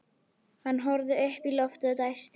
Hann horfði upp í loftið og dæsti.